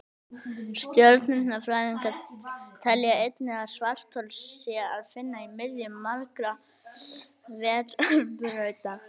stjörnufræðingar telja einnig að svarthol sé að finna í miðju margra vetrarbrauta